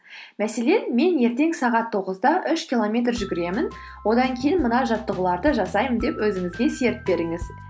мәселен мен ертең сағат тоғызда үш километр жүгіремін одан кейін мына жаттығуларды жасаймын деп өзіңізге серт беріңіз